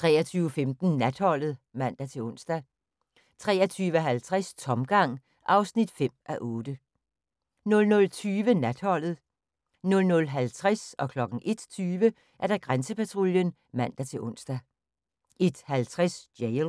23:15: Natholdet (man-ons) 23:50: Tomgang (5:8) 00:20: Natholdet 00:50: Grænsepatruljen (man-ons) 01:20: Grænsepatruljen (man-ons) 01:50: Jail